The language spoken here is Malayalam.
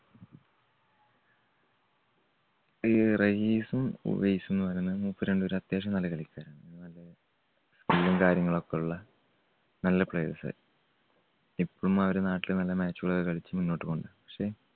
ഈ റഹീസും ഉവൈസും എന്ന് പറയുന്നത് മൂപ്പര് രണ്ടുപേരും അത്യാവശ്യം നല്ല കളിക്കാരാണ്. skill ഉം കാര്യങ്ങളൊക്കെയുള്ള നല്ല players. ഇപ്പം അവര് നാട്ടില് മെല്ലെ match കളൊക്കെ കളിച്ച് മുന്നോട്ട് പോകുന്നുണ്ട്. പക്ഷേ